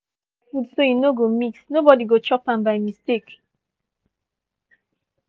i don mark my food so e no go mix nobody go chop am by mistake.